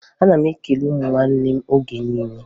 Ana m ekele ụmụnne m oge niile